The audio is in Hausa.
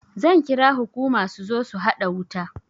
Zan kira hukuma su zo su haɗa wuta